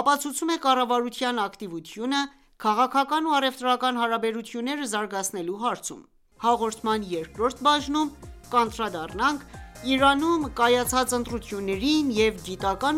ապացուցում է կառավարության ակտիվությունը՝ քաղաքական ու առևտրական հարաբերությունները զարգացնելու հարցում։ Հաղորդման երկրորդ բաժնում կանդրադառնանք Իրանում կայացած ընտրություններին և գիտական